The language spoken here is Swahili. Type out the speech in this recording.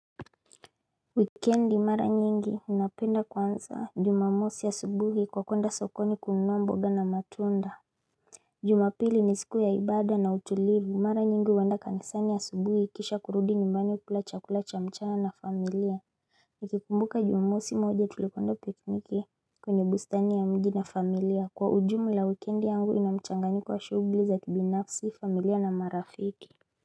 Wikendi mara nyingi napenda kuanza jumamosi subuhi kwa kuenda sokoni kununua mboga na matunda Jumapili ni siku ya ibada na utulivu mara nyingi huenda kanisani asubuhi kisha kurudi nyumbani kula chakula cha ya mchana na familia Nikikumbuka jumamosi moja tulipanda pikpiki kwenye bustani ya mji na familia kwa ujumla wikendi yangu ina mchanganyiko shughuli za kibinafsi familia na marafiki.